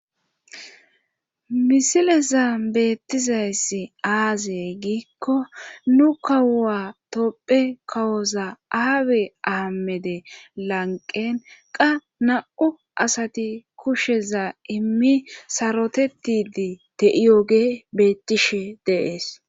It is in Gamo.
Misileza beettizayssi aazey giikko nu kawuwa topphe kawoza aawe aamede lanqen qa na'u asati kusheza immi sarotetidi te'iyoge beettishe deees.